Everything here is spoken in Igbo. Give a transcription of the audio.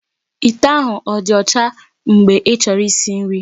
Ite ahụ ọ dị ọcha mgbe ịchọrọ isi nri?